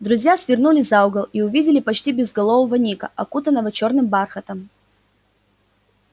друзья свернули за угол и увидели почти безголового ника окутанного чёрным бархатом